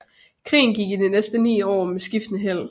Krigen gik i de næste ni år med skiftende held